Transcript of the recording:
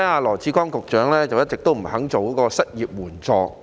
羅致光局長一直不肯推出失業援助金。